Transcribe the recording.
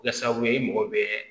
Kɛ sababu ye i mago bɛ